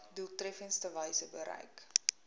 doeltreffendste wyse bereik